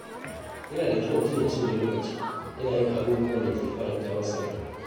Yana da kyau mutum ya cinye lokaci yana yin abubuwan da ke faranta masa rai.